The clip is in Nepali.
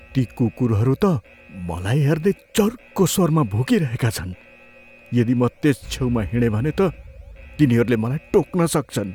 ती कुकुरहरू त मलाई हेर्दै चर्को स्वरमा भुकिरहेका छन्। यदि म त्यस छेउमा हिँडेँ भने त तिनीहरूले मलाई टोक्न सक्छन्।